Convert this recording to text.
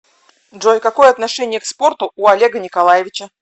джой какое отношение к спорту у олега николаевича